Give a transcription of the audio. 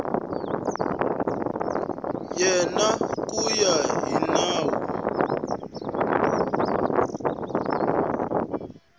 yena ku ya hi nawu